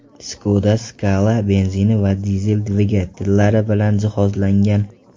Skoda Scala benzin va dizel dvigatellari bilan jihozlangan.